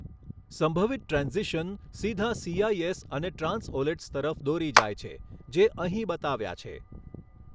સંભવિત ટ્રેન્ઝિશન સીધા સીઆઈએસ અને ટ્રાંસઓલેટ્સ તરફ દોરી જાય છે જે અહીં બતાવ્યા છે.